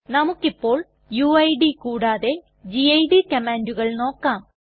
നമുക്കിപോൾ UID കൂടാതെ GID കമ്മാണ്ടുകൾ നോക്കാം